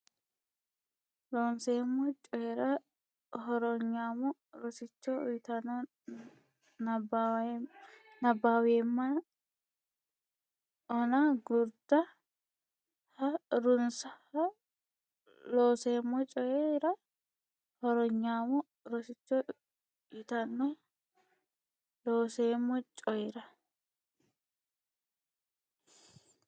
Looseemmo Coyi ra Hornyaamo Rosicho yitanno nabbaweemma ona Gurda ha runse Looseemmo Coyi ra Hornyaamo Rosicho yitanno Looseemmo Coyi ra.